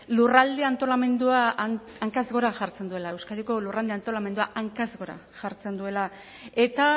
lurralde antolamendua hankaz gora jartzen duela euskadiko lurralde antolamendua hankaz gora jartzen duela eta